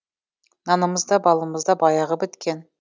нанымыз да балымыз да баяғыда біткен